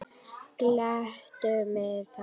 Gleddu mig þá.